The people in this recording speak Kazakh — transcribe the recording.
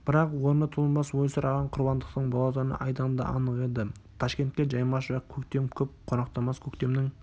бірақ орны толмас ойсыраған құрбандықтың болатыны айдан да анық еді ташкентке жаймашуақ көктем көп қонақтамас көктемнің